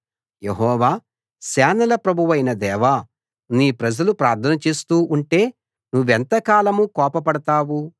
యెహోవా సేనల ప్రభువైన దేవా నీ ప్రజలు ప్రార్థన చేస్తూ ఉంటే నువ్వెంతకాలం కోపపడతావు